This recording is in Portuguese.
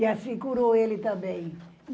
E assim, curou ele também.